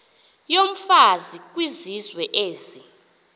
yomfazi kwizizwe ezi